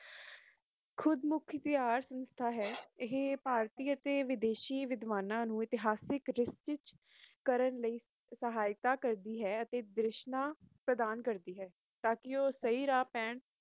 ਖ਼ੁਦਮੁਖ਼ਤਿਆਰ ਸੰਸਥਾ ਹੈ ਇਹ ਭਾਰਤੀ ਅਤੇ ਵਿਦੇਸ਼ੀ ਵਿਦਵਾਨਾਂ ਨੂੰ ਇਤਿਹਾਸਕ ਇਕੱਠ